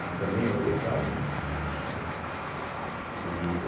Mas também errou tchau e bênção, entende. e